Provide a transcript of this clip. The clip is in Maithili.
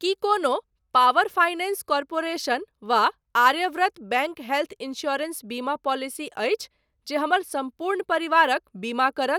की कोनो पावर फाइनेंस कॉर्पोरेशन वा आर्यव्रत बैंक हेल्थ इन्स्योरेन्स बीमा पॉलिसी अछि जे हमर सम्पूर्ण परिवारक बीमा करत?